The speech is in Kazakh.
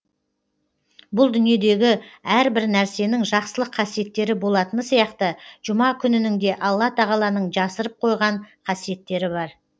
бұл дүниедегі әрбір нәрсенің жақсылық қасиеттері болатыны сияқты жұма күнінің де алла тағаланың жасырып қойған қасиеттері бар